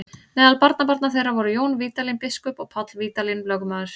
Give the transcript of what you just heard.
Meðal barnabarna þeirra voru Jón Vídalín biskup og Páll Vídalín lögmaður.